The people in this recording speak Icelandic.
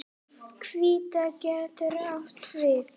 Hvítá getur átt við